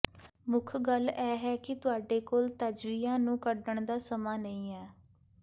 ਮੁੱਖ ਗੱਲ ਇਹ ਹੈ ਕਿ ਤੁਹਾਡੇ ਕੋਲ ਤਜਵੀਜ਼ਾਂ ਨੂੰ ਕੱਢਣ ਦਾ ਸਮਾਂ ਨਹੀਂ ਹੈ